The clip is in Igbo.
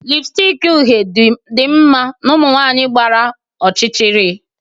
lipstick uhie dị mma na ụmụ nwanyị gbara ọchịchịrị